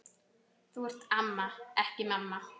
Þú ert amma, ekki mamma.